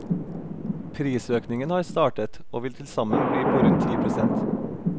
Prisøkningen har startet, og vil tilsammen bli på rundt ti prosent.